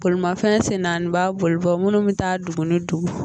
Bolimafɛn sen naani b'a bolibɔ munnu bɛ taa dugu ni dugu.